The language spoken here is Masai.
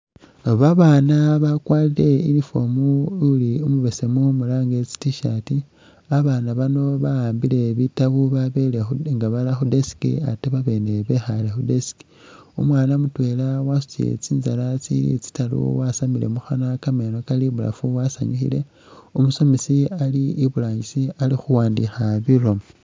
Babaana bakwarire uniform uli umubesemu mulange tsi tshirt ,abaana bano ba'ambile bitabu babele khu nga bara khu desk ate babene bekhale khu desk, umwana mutwela wasutile tsinzaala tsyewe tsitaru wasamile mukhanwa, kameeno kali ibulafu wasanyukhile, umusomesi ali iburangisa ali khuwandikha bilomo